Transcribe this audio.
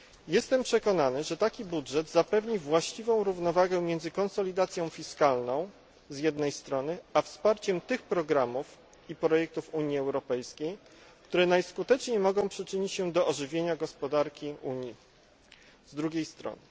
Jestem przekonany, że taki budżet zapewni właściwą równowagę między konsolidacją fiskalną z jednej strony, a wsparciem tych programów i projektów Unii Europejskiej, które najskuteczniej mogą przyczynić się do ożywienia gospodarki Unii z drugiej strony.